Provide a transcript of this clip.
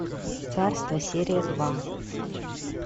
царство серия два